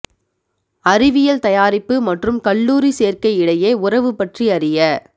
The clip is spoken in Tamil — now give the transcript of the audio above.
அறிவியல் தயாரிப்பு மற்றும் கல்லூரி சேர்க்கை இடையே உறவு பற்றி அறிய